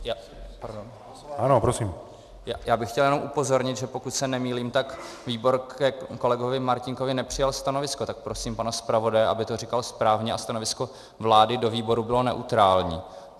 Já bych chtěl jenom upozornit, že pokud se nemýlím, tak výbor ke kolegovi Martínkovi nepřijal stanovisko, tak prosím pana zpravodaje, aby to říkal správně, a stanovisko vlády do výboru bylo neutrální.